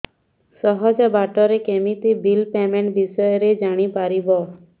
ସହଜ ବାଟ ରେ କେମିତି ବିଲ୍ ପେମେଣ୍ଟ ବିଷୟ ରେ ଜାଣି ପାରିବି